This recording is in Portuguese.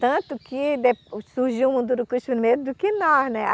Tanto que surgiu o Mundurucus primeiro do que nós.